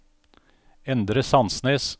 Endre Sandnes